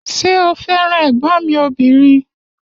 Ṣé o fẹ́ràn ẹ̀gbọ́n mi ọbìnrin?